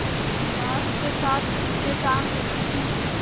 बाँस के साथ ऊँचे टाँग देती थी